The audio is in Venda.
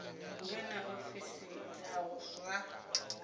vhe na ofisi dza zwa